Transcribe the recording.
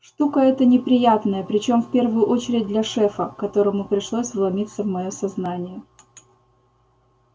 штука это неприятная причём в первую очередь для шефа которому пришлось вломиться в моё сознание